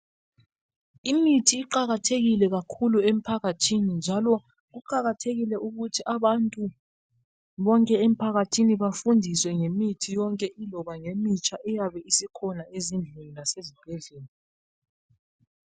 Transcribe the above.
Imithi iqakathekile kakhulu emphakathini, njalo kuqakathekile ukuthi abantu bonke emphakathini bafundiswe ngimithi yonke iloba ngemitsha iyabe isikhona ezindlini lasezibhedlela.